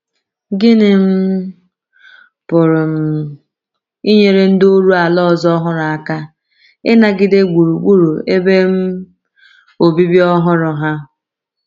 Gịnị um pụrụ um inyere ndị oru ala ọzọ ọhụrụ aka ịnagide gburugburu ebe um obibi ọhụrụ ha?